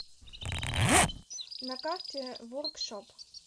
на карте воркшоп